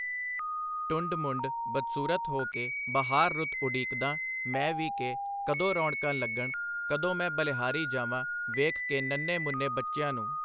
ਟੁੰਡ ਮੁੰਢ , ਬਦਸੂਰਤ ਹੋ ਕੇ ਬਹਾਰ ਰੁੱਤ ਉਡੀਕਦਾਂ ਮੈਂ ਵੀ ਕਿ ਕਦੋ ਰੌਣਕਾਂ ਲੱਗਣ , ਕਦੋ ਮੈ ਬਲਿਹਾਰੀ ਜਾਵਾਂ ਵੇਖ ਕੇ ਨੰਨ੍ਹੇ ਮੁੰਨ੍ਹੇਂ ਬੱਚਿਆਂ ਨੂੰ .